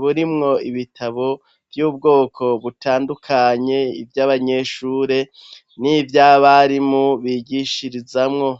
burimwo ibitabo vy'ubwoko butandukanye, ivy'abanyeshure n'ivy'abarimu bigishirizamwo.